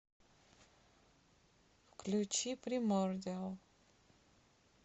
включи примордиал